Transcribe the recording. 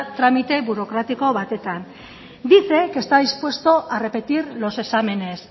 tramite burokratiko batean dice que está dispuesto a repetir los exámenes